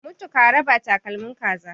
mutu karaba takalmin kaza